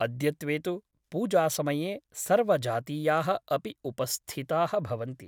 अद्यत्वे तु पूजासमये सर्वजातीयाः अपि उपस्थिताः भवन्ति ।